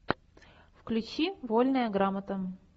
включи вольная грамота